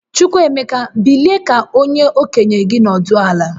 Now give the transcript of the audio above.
Chukwuemeka, bilie ka okenye gi nọdụ ala!